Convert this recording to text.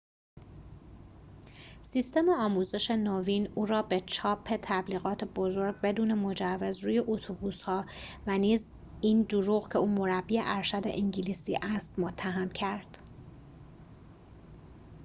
سیستم آموزش نوین او را به چاپ تبلیغات بزرگ بدون مجوز روی اتوبوس‌ها و نیز این دروغ که او مربی ارشد انگلیسی است متهم کرد